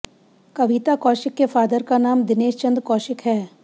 कविता कौशिक के फादर का नाम दिनेशचंद कौशिक है